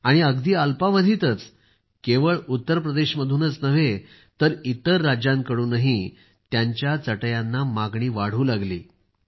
आणि अगदी अल्पावधीतच त्यांना केवळ उत्तर प्रदेशमधूनच नव्हे तर इतर राज्यांकडूनही त्यांच्या चटईला मागणी वाढू लागली